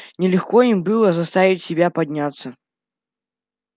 нелегко им было заставить себя подняться